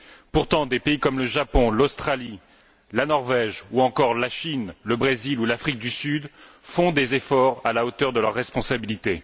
Pourtant, des pays comme le Japon, l'Australie, la Norvège, ou encore la Chine, le Brésil ou l'Afrique du Sud font des efforts à la hauteur de leurs responsabilités.